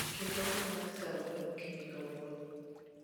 Ket olang' mar saa ang'wen okinyi kawuono